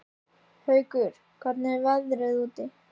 Haukur, hvernig er veðrið úti?